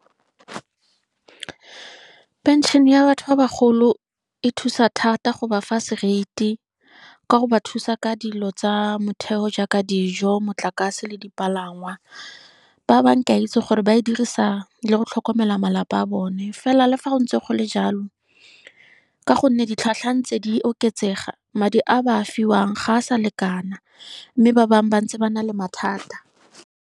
Pension ya batho ba bagolo e thusa thata go ba fa seriti, ka go ba thusa ka dilo tsa motheo jaaka dijo motlakase le dipalangwa. Ba bangwe ke a itse gore ba e dirisa le go tlhokomela malapa a bone. Fela le fa go ntse gole jalo, ka go nne ditlhwatlhwa tse di oketsega madi a ba a fiwang ga a sa lekana, mme ba bangwe ba ntse ba na le mathata.